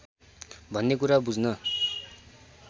भन्ने कुरा बुझ्न